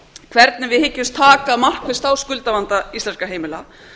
hvernig við hyggjumst taka markvisst á skuldavanda íslenskra heimila